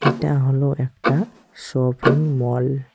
এটা হল একটা শপিং মল ।